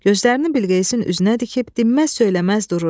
Gözlərini Bilqeyisin üzünə dikib dinməz-söyləməz dururdu.